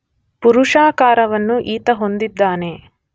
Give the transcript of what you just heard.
ಪುರುಷಾಕಾರವನ್ನು ಈತ ಹೊಂದಿದ್ದಾನೆ.